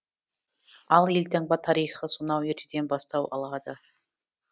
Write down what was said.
ал елтаңба тарихы сонау ертеден бастау алады